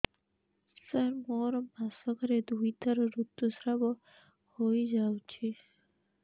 ସାର ମୋର ମାସକରେ ଦୁଇଥର ଋତୁସ୍ରାବ ହୋଇଯାଉଛି